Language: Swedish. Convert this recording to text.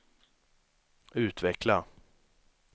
utveckla